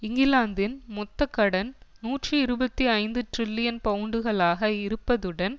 இங்கிலாந்தின் மொத்த கடன் நூற்றி இருபத்தி ஐந்து டிரில்லியன் பவுண்டுகளாக இருப்பதுடன்